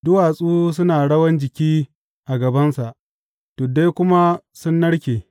Duwatsu suna rawan jiki a gabansa tuddai kuma sun narke.